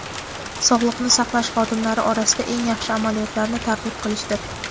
sog‘likni saqlash xodimlari orasida eng yaxshi amaliyotlarni targ‘ib qilishdir.